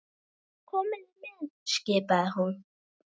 Komiði með! skipaði hún.